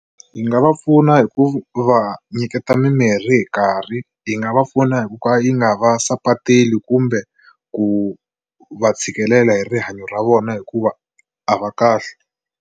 Yi nga va pfuna hi ku va nyiketa mimirhi hi nkarhi yi nga va pfuna hi ku ka yi nga va sapateli kumbe ku va tshikelela hi rihanyo ra vona hikuva a va kahle.